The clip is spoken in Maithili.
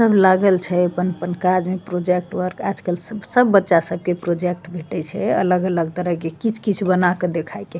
सब लागल छय अपन-अपन कार्ज प्रोजेक्ट वर्क आज-कल स सब बच्चा सब के प्रोजेक्ट भेटे छे अलग-अलग तरह के कीच-कीच बना के देखाय के।